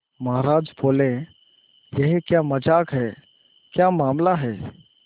महाराज बोले यह क्या मजाक है क्या मामला है